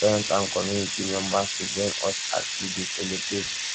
invite your friends and community members to join you as you dey celebrate